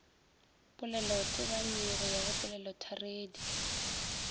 polelotebanyi go ya go polelotharedi